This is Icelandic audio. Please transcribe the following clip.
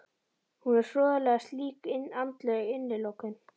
Hún er hroðaleg slík andleg innilokun.